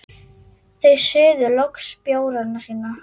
Þau suðu loks bjórana sína.